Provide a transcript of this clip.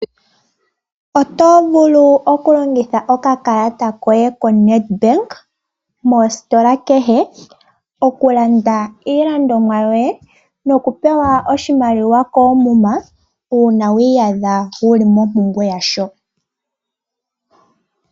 Oto vulu okulongitha oka kalata koye ko NedBank . Mositola kehe oku landa iilandomwa yoye nokupewa oshimaliwa koomuma uuna wi iyadha wu li mompumbwe ya sho.